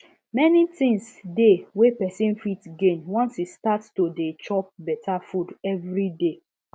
many things dey wey person fit gain once e start to dey chop better food every day